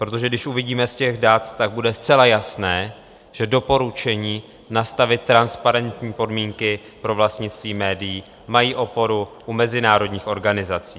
Protože když uvidíme z těch dat, tak bude zcela jasné, že doporučení nastavit transparentní podmínky pro vlastnictví médií mají oporu u mezinárodních organizací.